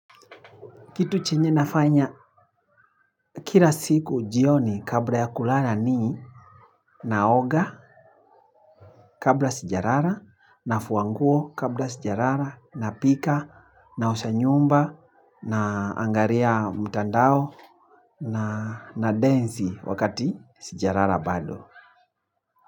Kitu chenye nafanya kila siku jioni kabla ya kulala ni naoga kabla sijalala na fuanguo kabla sijalala na pika na osha nyumba na angalia mtandao na na densi wakati sijalala bado.